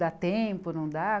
Dá tempo, não dá?